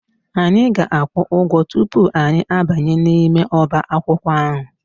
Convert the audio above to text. Anyị ga-akwụ ụgwọ tupu anyị abanye n'ime ọbaakwụkwọ ahụ